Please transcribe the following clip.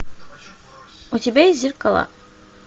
у тебя есть зеркала